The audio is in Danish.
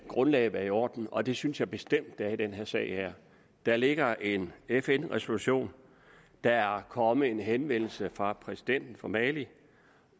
grundlaget være i orden og det synes jeg bestemt er i denne sag der ligger en fn resolution der er kommet en henvendelse fra præsidenten for mali